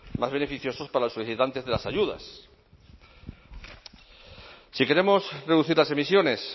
más beneficioso para los solicitantes de las ayudas si queremos reducir las emisiones